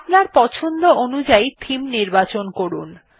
আপনার পছন্দ অনুযাই থেমে নির্বাচন করুন